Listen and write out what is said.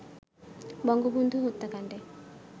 Bangabandhu হত্যাকান্ডে